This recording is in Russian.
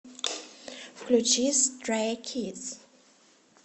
включи стрэй кидс